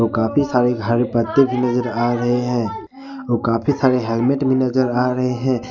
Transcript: काफी सारे हरे पत्ते भी नजर आ रहे हैं और काफी सारे हेलमेट भी नजर आ रहे हैं।